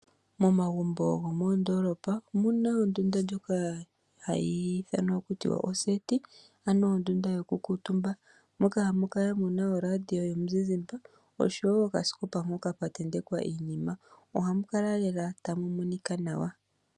Momagumbo gomoondoolopa omu na ondunda ndjoka hayi ithanwa taku tiwa oseti, ano ondunda yokukuutumba moka hamu kala mu na oradio yomuzizimba osho wo okasikopa mpoka pwa tentekwa iinima. Ohamu kala lela tamu monika nawa.